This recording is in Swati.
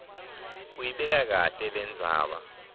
uyibeka kahle lendzaba